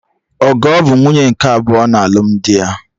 Ogo bụ nwunye nke abụọ na alụmdi ya